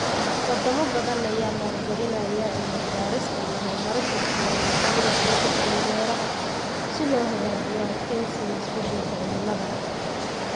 Wadamo badan ayaa maalgelinaya cilmi baarista iyo horumarinta tignoolajiyada cusub ee beeraha si loo hagaajiyo adkeysiga isbedelka cimilada.